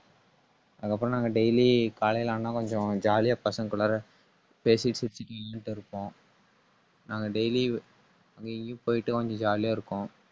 அதுக்கப்புறம் நாங்க daily காலையில ஆனா கொஞ்சம் jolly ஆ பசங்ககுள்ளரா பேசி சிரிச்சுட்டு ஈன்னுட்டு இருப்போம். நாங்க daily எங்கயும் போயிட்டு வந்து, jolly ஆ இருக்கும்